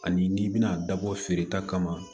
Ani n'i bɛna a dabɔ feereta kama